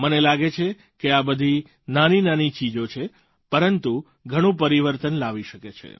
મને લાગે છે કે આ બધી નાનીનાની ચીજો છે પરંતુ ઘણું પરિવર્તન લાવી શકે છે